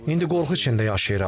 İndi qorxu içində yaşayıram.